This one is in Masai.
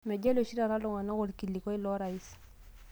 Meijalie oshi taata ltung'ana olkilikua lorais